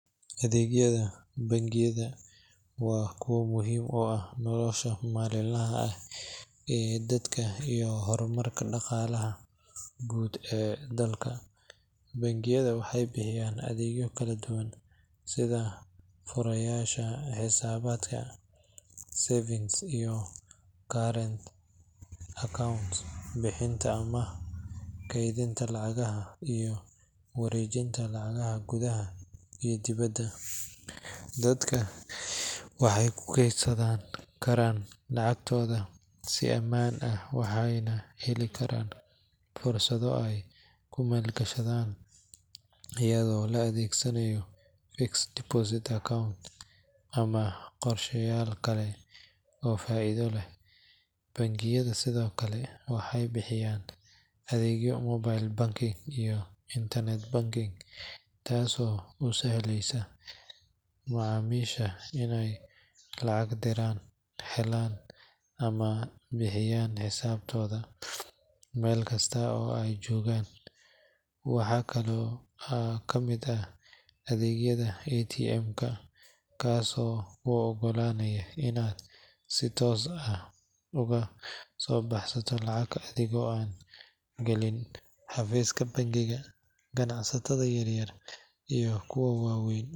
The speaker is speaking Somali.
Adegyada bangiyada wa kuqa muxiim u ah nolosha malin laha ah ee dadka iyo hormarka dagalaha guud ee dalka, bangiyada waxay bihiyaan adegyo kaladuwaan sidha furayasha hisabadka savings , current account bihinta ama keydinta lacagaha iyo warejinta lacagaha kudaha iyo dibada, dadka waxay kukedsankaraan lacagtoda si amaan ah, waxayna helikaraan fursado ay kumalgashadan iyado laadegsanayo ama gorshayal kale oo faido leh bangiyada Sidhokale waxay bihiyaan adegyo mobile banking , internet banking kaas oo usahleysa macamisha inay lacag diraan helaan ama bihiyaan hisabtoda melkasta oo ay jogaan, waxa kalo kamid ah adegyada atm kaas oo uogalanayo inad si toos ah ugadobahsato lacag ama adego galiin hafiska bangiga, ganacsata yaryar iyo kuwa wawen.